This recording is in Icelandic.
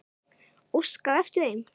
Óskaði eftir þeim?